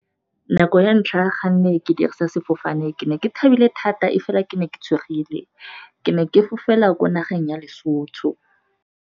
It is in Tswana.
Nako ya ntlha ga nne ke dirisa sefofane ke ne ke thabile thata, e fela ke ne ke tshogile ke ne ke fofela kwa nageng ya Lesotho.